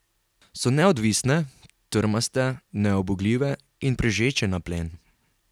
So neodvisne, trmaste, neubogljive in prežeče na plen.